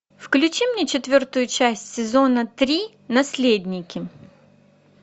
включи мне четвертую часть сезона три наследники